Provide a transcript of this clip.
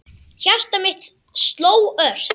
Hjarta mitt sló ört.